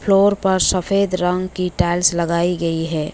Floor पर सफेद रंग की टाइल्स लगाई गई है।